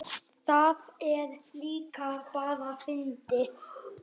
Það er líka bara fyndið.